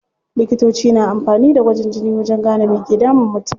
Likitoci na amfani da gwajin jini wajen gane me ke damun mutum.